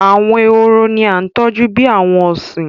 Àwọn ehoro ní a tọjú bí àwọn ọsin.